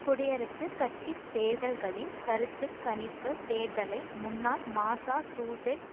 குடியரசுக் கட்சி தேர்தல்களின் கருத்து கணிப்பு தேர்தலை முன்னாள் மசாசூசெட்ஸ்